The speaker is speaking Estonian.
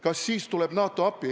Kas siis tuleb NATO appi?